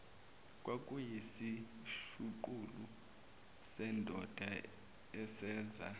kwakuyisishuqula sendoda eseza